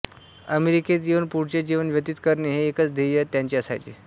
अमेरिकेत येऊन पुढचे जीवन व्यतित करणे हे एकाच ध्येय त्यांचे असायचे